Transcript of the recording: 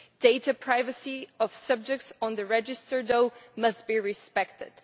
Data privacy of subjects on the register, though, must be respected.